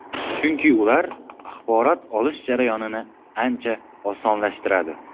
Chunki ular axborot olish jarayonini ancha osonlashtiradi.